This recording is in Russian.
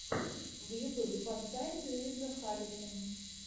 в ютюбе поставь уиза халифу